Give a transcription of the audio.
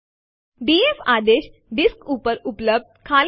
હવે ચાલો આરએમ આદેશ ના કેટલાક વિકલ્પો જોઈએ